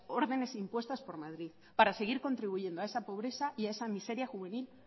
órdenes impuestas por madrid para seguir contribuyendo a esa pobreza y a esa miseria juvenil